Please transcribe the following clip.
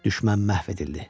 Düşmən məhv edildi.